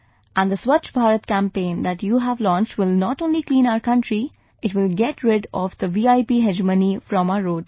And the Swachch Bharat Campaign that you have launched will not only clean our country, it will get rid of the VIP hegemony from our roads